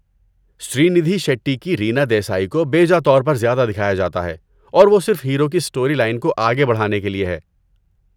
سری ندھی شیٹی کی رینا دیسائی کو بیجا طور پر زیادہ دکھایا جاتا ہے اور وہ صرف ہیرو کی اسٹوری لائن کو آگے بڑھانے کے لیے ہے۔